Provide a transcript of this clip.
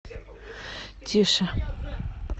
тише